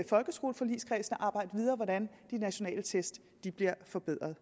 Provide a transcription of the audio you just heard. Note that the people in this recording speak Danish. folkeskoleforligskredsen at arbejde videre hvordan de nationale test bliver forbedret